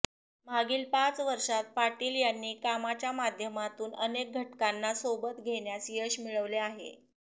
मागील पाच वर्षात पाटील यांनी कामाच्या माध्यमातून अनेक घटकांना सोबत घेण्यास यश मिळवले आहे